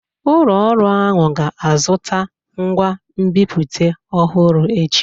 Ụlọ ọrụ ahụ ga-azụta ngwa nbipute ọhụrụ echi.